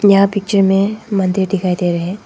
यह पिक्चर में मंदिर दिखाई दे रहे हैं।